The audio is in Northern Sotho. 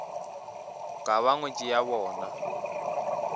ka ba ngwetši ya bona